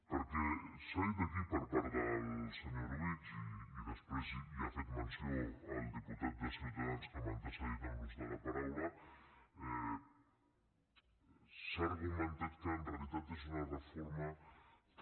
perquè s’ha dit aquí per part del senyor orobitg i després hi ha fet menció el diputat de ciutadans que m’ha antecedit en l’ús de la paraula s’ha argumentat que en realitat és una reforma que